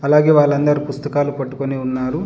అలాగే వాళ్ళందరు పుస్తకాలు పట్టుకొని ఉన్నారు.